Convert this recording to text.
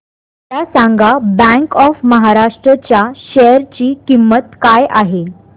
मला सांगा bank of Maharashtra च्या शेअर ची किंमत काय आहे